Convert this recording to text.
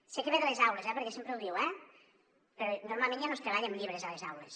sé que ve de les aules perquè sempre ho diu eh però normalment ja no es treballa amb llibres a les aules